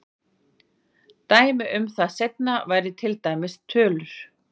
Dæmi um það seinna væri til dæmis tölur.